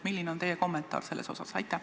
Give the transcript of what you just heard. Milline on teie kommentaar selle kohta?